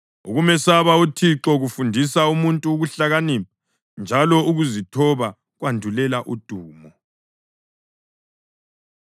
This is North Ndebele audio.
Ukumesaba uThixo kufundisa umuntu ukuhlakanipha, njalo ukuzithoba kwandulela udumo.